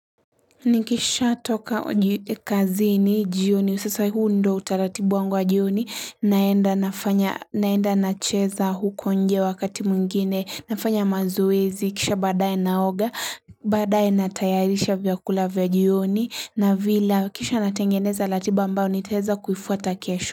Nikisha toka kazini jioni sasa huu ndio utaratibu wangu wa jioni naenda nafanya naenda nacheza huko nje wakati mwingine nafanya mazoezi kisha baadaye naoga baadaye natayarisha vyakula vya jioni navila kisha natengeneza ratiba ambayo nitaweza kuifuata kesho.